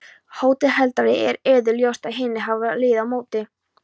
HÓTELHALDARI: Er yður ljóst að hinir safna liði á móti.